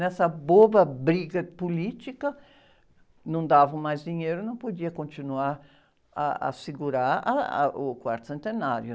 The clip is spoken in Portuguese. Nessa boba briga política, não davam mais dinheiro, não podia continuar ah, a segurar ah, ah, o quarto centenário.